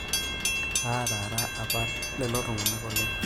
ataara apa lelo tung'anak oleng'